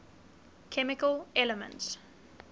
chemical elements